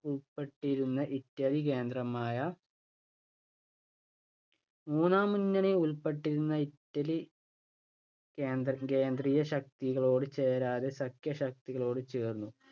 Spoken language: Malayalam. യിൽ ഉൾപെട്ടിരുന്ന ഇറ്റലി കേന്ദ്രമായ മൂന്നാം മുന്നണിയിൽ ഉൾപെട്ടിരുന്ന ഇറ്റലി കേന്ദ്രകേന്ദ്രിയ ശക്തികളോടു ചേരാതെ സംഖ്യ കക്ഷികളോടു ചേർന്നു.